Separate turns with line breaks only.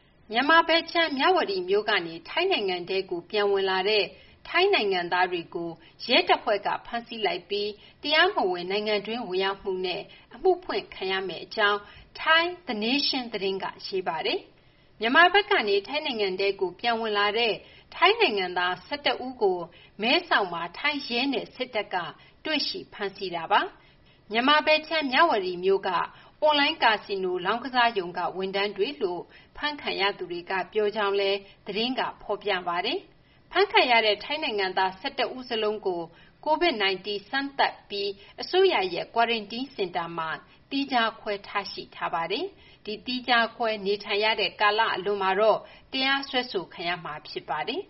မြန်မာဘက်ခြမ်း မြဝတီမြို့ကနေ ထိုင်းနိုင်ငံထဲကို ပြန်ဝင်လာတဲ့ ထိုင်းနိုင်ငံသားတွေကို ရဲတပ်ဖွဲ့က ဖမ်းဆီးလိုက်ပြီး တရားမဝင် နိုင်ငံတွင်း ဝင်ရောက်မှုနဲ့ အမှုဖွင့်ခံရမယ့်အကြောင်း ထိုင်း The Nation သတင်းက ရေးပါတယ်။ မြန်မာဘက်ကနေ ထိုင်းနိုင်ငံထဲကို ပြန်ဝင်လာတဲ့ ထိုင်းနိုင်ငံသား ၁၁ ဦးကို မဲဆောက်မှာ ထိုင်းရဲနဲ့ စစ်တပ်က တွေ့ရှိ ဖမ်းဆီးခဲ့တာပါ။ မြန်မာဘက်ခြမ်း မြဝတီမြို့က အွန်လိုင်း ကာဆီနို လောင်းကစားရုံက ဝန်ထမ်းတွေလို့ အဖမ်းခံရသူတွေကပြောကြောင်းလည်း သတင်းက ဖော်ပြပါတယ်။ အဖမ်းခံရတဲ့ ထိုင်းနိုင်ငံသား ၁၁ ဦးစလုံးကို COVID-19 စမ်းသပ်ပြီး အစိုးရရဲ့ ကွာရမ်တင်းစင်တာမှာ သီးခြားခွဲ ထားရှိထားပြီး သီးခြားခွဲနေထိုင်ရတဲ့ကာလ အလွန်မှာတော့ တရားစွဲခံရမှာ ဖြစ်ပါတယ်